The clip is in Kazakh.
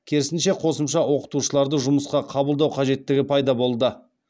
керісінше қосымша оқытушыларды жұмысқа қабылдау қажеттігі пайда болды